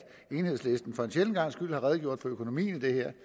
enhedslisten for en sjælden gangs skyld har redegjort for økonomien i det